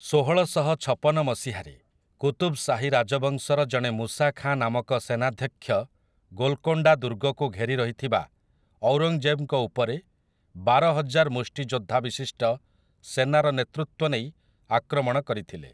ଷୋହଳଶହଛପନ ମସିହାରେ କୁତୁବ୍ ଶାହି ରାଜବଂଶର ଜଣେ ମୁସା ଖାଁ ନାମକ ସେନାଧ୍ୟକ୍ଷ ଗୋଲକୋଣ୍ଡା ଦୁର୍ଗକୁ ଘେରି ରହିଥିବା ଔରଙ୍ଗଜେବ୍ ଙ୍କ ଉପରେ ବାରହଜାର ମୁଷ୍ଟିଯୋଦ୍ଧା ବିଶିଷ୍ଟ ସେନାର ନେତୃତ୍ୱ ନେଇ ଆକ୍ରମଣ କରିଥିଲେ ।